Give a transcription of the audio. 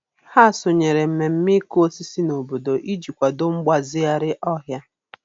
Ha sonyere mmemme ịkụ osisi n'obodo iji kwado mgbazigharị ọhịa.